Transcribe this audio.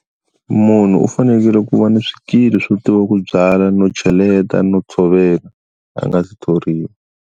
Munhu u fanekele ku va ni swikili swo tiva ku byala no cheleta no tshovela a nga si thoriwa.